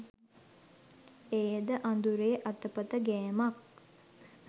එයද අඳුරේ අතපත ගෑමක්